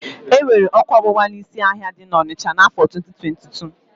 E nwere ọ́kụ́ ọgbụgba n'ísí ahịa dị n'ọnịsha n'áfọ̀ 2022.